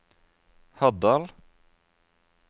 Haddal